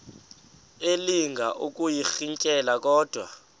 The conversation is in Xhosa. elinga ukuyirintyela kodwa